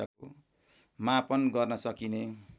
मापन गर्न सकिने